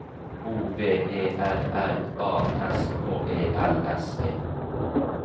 O V E R R A S K E L S E